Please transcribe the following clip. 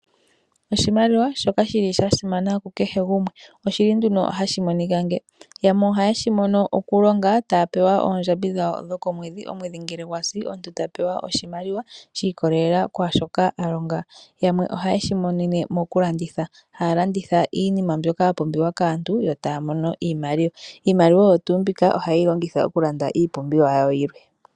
Oshimaliwa shoka sha simana kukehe gumwe. Ohashi monika momikalo dha yoolokathana, yamwe ohaa vulu okulonga e taya pewa oondjambi dhawo dhokomwedhi. Omwedhi ngele gwa si omuntu ta pewa oshimaliwa shi ikolelela kwaashi a longa. Yamwe ohaya shi imonene mokulanditha, haya landitha iinima mbyoka ya pumbiwa kaantu yo taya imonene iimaliwa. Iimaliwa oyo tuu mbika ohaye yi longitha okulanda iipumbiwa yawo yilwe.